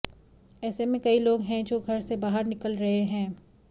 ऐसे में कई लोग हैं जो घर से बाहर निकल रहे हैं